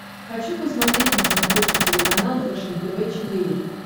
хочу посмотреть на смотрешке телеканал фэшен тв четыре к